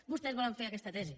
vostès volen fer aquesta tesi